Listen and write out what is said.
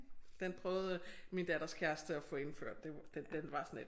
Den prøvede øh min datters kæreste at få indført det den den var sådan lidt